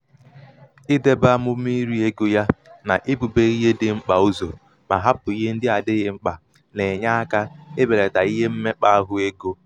idēbē amụ̀mà iri egō ya nà ibūbē ihe dị̄ mkpà uzọ̀ mà hapụ̀ ihe ndị adịghị oke mkpà nà-ènye akā ibèlàtà ihe mmekpà- ahụ egō